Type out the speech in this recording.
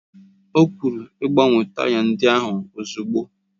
O kwuru, gbanwee taya ndị ahụ ozugbo!